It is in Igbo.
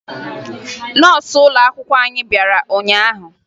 Nọọsụ ụlọakwụkwọ anyị bịara ụnyaahụ